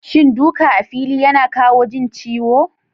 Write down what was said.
Shin duka a fili yana kawo jin ciwo?